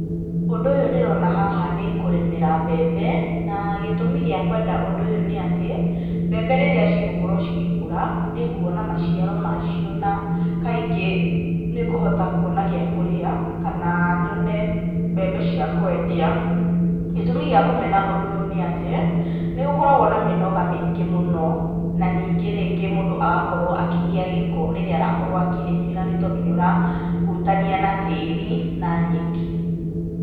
Ũndũ ũyũ ndĩrona haha nĩ kũrĩmĩra mbembe, na gĩtũmi gĩa kwenda ũndũ ũyũ nĩ atĩ, mbembe rĩrĩa cigũkorwo cigĩkũra, nĩ nguona maciaro macio na kaingĩ nĩ ngũhota kuona gĩa kũrĩa, kana nyone mbembe cia kwendia. Gĩtũmi gĩa kũmena ũndũ ũyũ nĩ atĩ, nĩ gũkoragwo na mĩnoga mĩingĩ mũno, na ningĩ rĩngĩ mũndũ agakorwo akĩgĩa gĩko rĩrĩa arakorwo akĩrĩmĩra, nĩ tondũ nĩ arahutania na tĩĩri na nyeki.